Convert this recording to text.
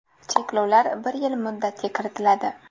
Cheklovlar bir yil muddatga kiritiladi.